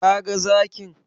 Ka ga zakin?